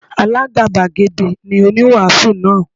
Alágàbàgebè ni oníwàásù náà.